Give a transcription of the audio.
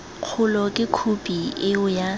kgolo ke khophi eo ya